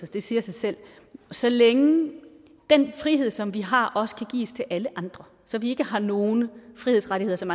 det siger sig selv så længe den frihed som vi har også kan gives til alle andre så vi ikke har nogen frihedsrettigheder som